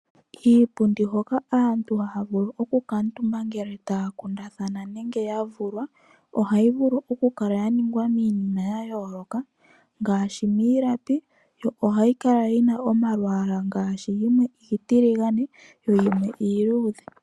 Iipundi hoka aantu haya vulu oku kamutumba ngele taya kundathana nenge ya vulwa ohayi vulu okukala yaningwa miinima yayooloka ngashi miilapi yo ohayi kala yina omalwala ngashi yimwe iitiligane yo yimwe iiluudhe.